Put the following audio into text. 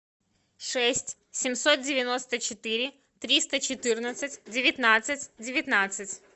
шесть семьсот девяносто четыре триста четырнадцать девятнадцать девятнадцать